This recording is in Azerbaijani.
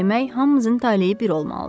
Demək hamımızın taleyi bir olmalıdır.